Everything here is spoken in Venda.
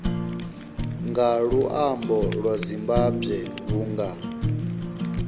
nga luambo lwa zimbambwe vhunga